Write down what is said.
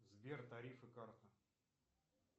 сбер тарифы карты